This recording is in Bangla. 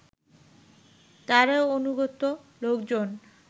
তারই অনুগত লোকজন